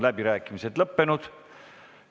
Läbirääkimised on lõppenud.